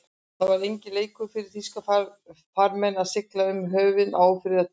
Það var enginn leikur fyrir þýska farmenn að sigla um höfin á ófriðartímum.